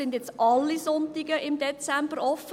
Sind die Läden jetzt an allen Sonntagen im Dezember offen?